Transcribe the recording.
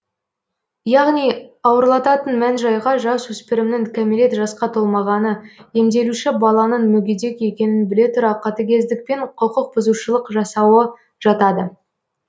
яғни ауырлататын мән жайға жасөспірімнің кәмелет жасқа толмағаны емделуші баланың мүгедек екенін біле тұра катігездікпен құқық бұзушылық жасауы жатады